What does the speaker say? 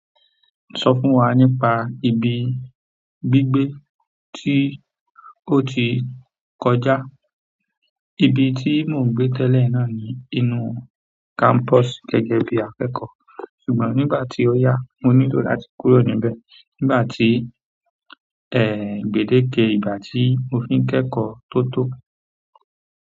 Sọ fún wa nípa ibi gbígbé tí ó ti kọjá. Ibi tí mò ń gbé tẹ́lẹ̀ náà ni inú campus gẹ́gẹ́ bí akẹ́kọ̀ọ́. Ṣùgbọ́n nígbà tí ó yá, mo nílò láti kúrò níbẹ̀. Nígbà tí, ẹ, gbedeke ìgbà tí mo fi ń kẹ́kọ̀ọ́ tó tó.